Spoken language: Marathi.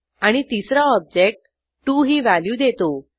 आणि तिसरा ऑब्जेक्ट 2 ही व्हॅल्यू देतो